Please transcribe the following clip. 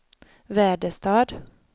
Väderstad